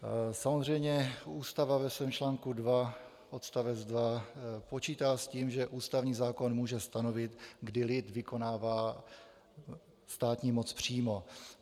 Samozřejmě Ústava ve svém článku 2 odst. 2 počítá s tím, že ústavní zákon může stanovit, kdy lid vykonává státní moc přímo.